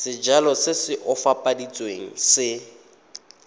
sejalo se se opafaditsweng se